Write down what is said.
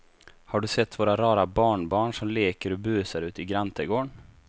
Har du sett våra rara barnbarn som leker och busar ute i grannträdgården!